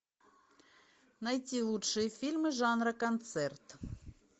найти лучшие фильмы жанра концерт